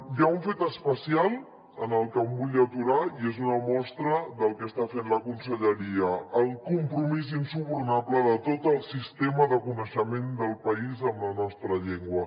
hi ha un fet especial en què em vull aturar i és una mostra del que està fent la conselleria el compromís insubornable de tot el sistema de coneixement del país amb la nostra llengua